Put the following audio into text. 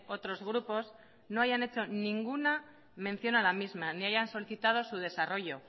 otros grupos no hayan hecho ninguna mención a la misma ni hayan solicitado su desarrollo